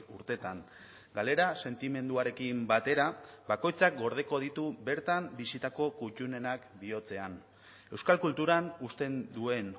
urteetan galera sentimenduarekin batera bakoitzak gordeko ditu bertan bizitako kuttunenak bihotzean euskal kulturan uzten duen